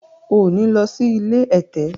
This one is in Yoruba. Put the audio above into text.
o ní ló sì ilé ẹ̀tẹ̀!